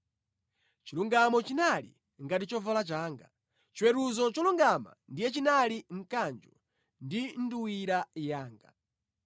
Chilungamo chinali ngati chovala changa; chiweruzo cholungama ndiye chinali mkanjo ndi nduwira yanga.